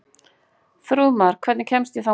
Þrúðmar, hvernig kemst ég þangað?